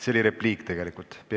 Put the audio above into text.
See oli tegelikult repliik.